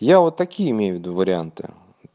я вот такие имею ввиду варианты